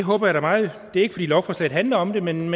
er ikke fordi lovforslaget handler om det men